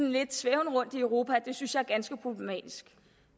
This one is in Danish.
lidt til rundt i europa og det synes jeg er ganske problematisk